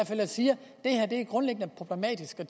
fald siger at det er grundlæggende problematisk og